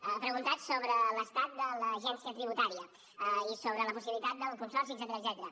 ha preguntat sobre l’estat de l’agència tributària i sobre la possibilitat del consorci etcètera